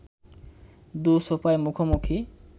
দু’সোফায় মুখোমুখি